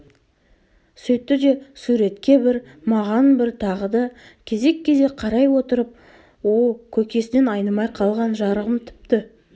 сөйтті де суретке бір маған бір тағы да кезек-кезек қарай отырып о көкесінен айнымай қалған жарығым тіпті